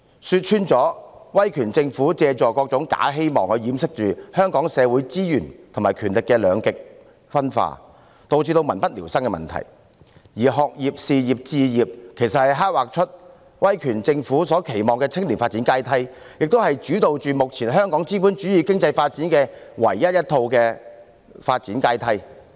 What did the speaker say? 說穿了，威權政府借助各種假希望掩飾香港社會資源和權力的兩極分化，以致民不聊生的問題，而"學業、事業和置業"其實是刻劃出威權政府所期望的青年發展階梯，也是主導目前香港資本主義經濟發展的唯一一套發展階梯。